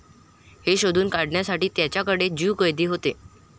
हे शोधून काढण्यासाठी त्यांच्याकडे ज्यू कैदी होते.